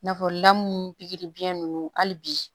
N'a fɔ lamu pikiri biyɛn nunnu hali bi